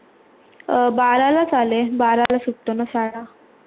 बारा लाच आली बारा ला सुटते ना शाळा.